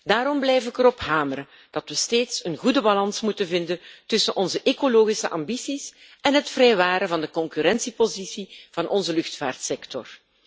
Daarom blijf ik erop hameren dat we steeds een goede balans moeten vinden tussen onze ecologische ambities en het vrijwaren van de concurrentiepositie van onze luchtvaartsector.